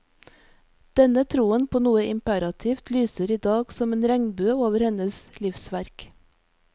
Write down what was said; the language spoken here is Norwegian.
Denne troen på noe imperativt lyser idag som en regnbue over hennes livsverk.